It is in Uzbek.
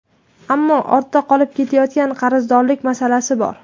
Ammo ortda qolib ketayotgan qarzdorliklar masalasi bor.